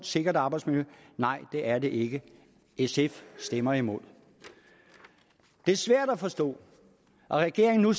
sikkert arbejdsmiljø nej det er det ikke sf stemmer imod det er svært at forstå at regeringen nu